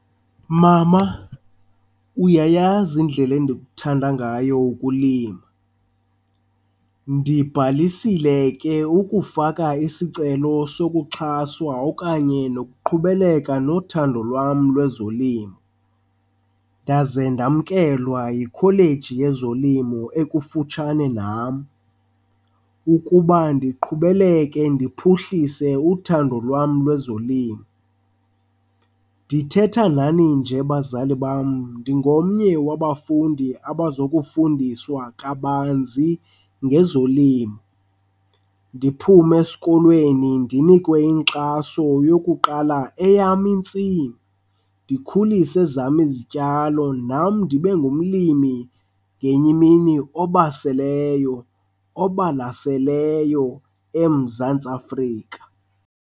Mama, uyayazi indlela endikuthanda ngayo ukulima. Ndibhalisile ke ukufaka isicelo sokuxhaswa okanye nokuqhubeleka nothando lwam lwezolimo, ndaze ndamkelwa yikholeji yezolimo ekufutshane nam ukuba ndiqhubeleke ndiphuhlise uthando lwam lwezolimo. Ndithetha nani nje bazali bam ndingomnye wabafundi obazokufundiswa kabanzi ngezolimo, ndiphume esikolweni ndinikwe inkxaso yokuqala eyam intsimi. Ndikhulise ezam izityalo nam ndibe ngumlimi ngenye imini obaseleyo obalaseleyo eMzantsi Afrika.